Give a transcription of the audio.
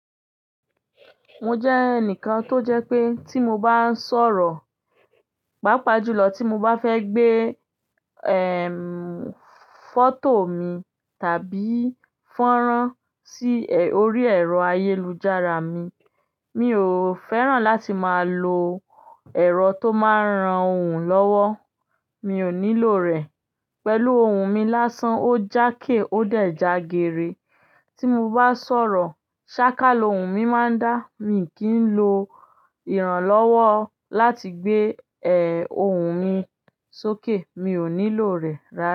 Mo jẹ́ ẹnìkan tó jẹ́ pé tí mo bá ń sọ̀rọ̀, pàápàá jùlọ tí mo bá fẹ́ gbé, foto mi tàbí fọ́nrán sí, orí ẹ̀rọ ayélujára mi, mi ò fẹ́ràn láti máa lo ẹ̀rọ tó máa ń ran òun lọ́wọ́. Mi ò nílò rẹ̀. Pẹ̀lú ohùn mi lásán, ó jáàké ó dẹ̀ jagere. Tí mo bá sọ̀rọ̀, sáká ohùn mi máa ń dá. Mi kì í lo ìrànlọ́wọ́ láti gbé, ohùn mi sókè. Mi ò nílò rẹ̀ rárá.